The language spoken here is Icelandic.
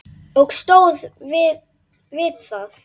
Og stóð við það.